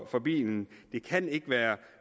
for bilen det kan ikke være